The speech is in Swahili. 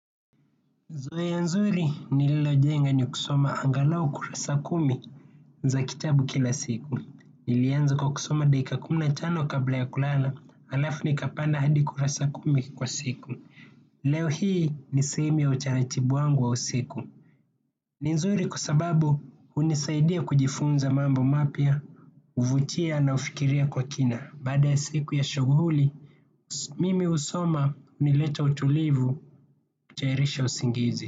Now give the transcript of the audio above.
Zoea nzuri nililojenga ni kusoma angalau kurasa kumi za kitabu kila siku. Nilianza kwa kusoma dakika kumi na tano kabla ya kulala, alafu nikapanda hadi kurasa kumi kwa siku. Leo hii ni sehemu ya utaratibu wangu wa usiku. Ni nzuri kwa sababu hunisaidia kujifunza mambo mapya, huvutia na hufikiria kwa kina. Baada ya siku ya shughuli, mimi husoma hunileta utulivu kutayarisha usingizi.